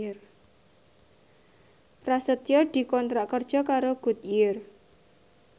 Prasetyo dikontrak kerja karo Goodyear